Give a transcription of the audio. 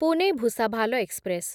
Pune Bhusawal express